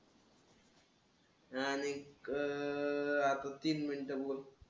आणि क अं आता तीन मिनिटं बोल.